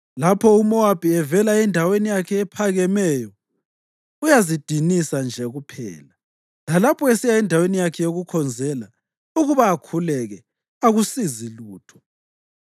Lapho uMowabi evela endaweni yakhe ephakemeyo uyazidinisa nje kuphela; lalapho esiya endaweni yakhe yokukhonzela ukuba akhuleke akusizi lutho.